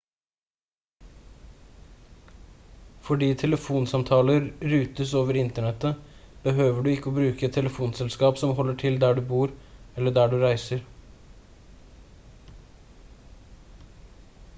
fordi telefonsamtaler rutes over internettet behøver du ikke å bruke et telefonselskap som holder til der du bor eller der du reiser